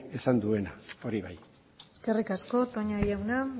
esan duena hori bai eskerrik asko toña jauna